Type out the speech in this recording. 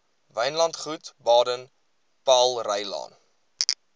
wynlandgoed baden powellrylaan